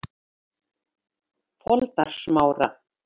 Foldarsmára